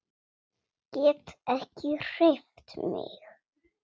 Get ekki hreyft mig.